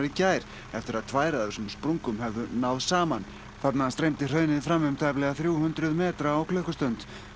gær eftir að tvær af þessum sprungum höfðu náð saman þarna streymdi hraunið fram um tæplega þrjú hundruð metra á klukkustund